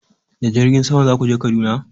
Da jirgin sama za ku je Kaduna?